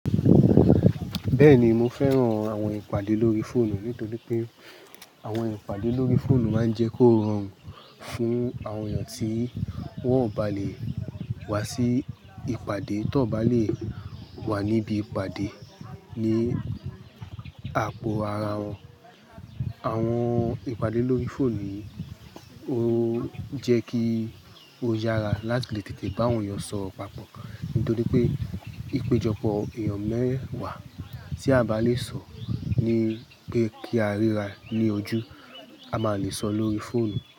Bẹ́ẹ̀ni mo fẹ́ran àwọn ìpàdé lórí fóònù nítorí pé àwọn ìpàdé lórí fóònù máa ń jẹ́ kó rọrùn fún àwọn èèyàn tí wọ́n ò bá lè wá sí ìpàdé tọ́ bá lè wà níbí ìpàdé ní àpò ara wọn. Àwọn ìpàdé lórí fóònù ó jẹ́ kí ó yára láti lè tètè bá àwọn èèyàn sọ̀rọ̀ papọ̀ nítorí pé ìpéjọpọ̀ èèyàn mẹ́wàá tí a bá lè sọ̀ ní pé kí á ríra ní ojú, a má lè sọ̀ lórí fóònù.